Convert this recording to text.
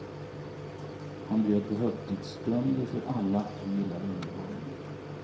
Han bjöd på högtidsstunder för alla som gillar underhållning.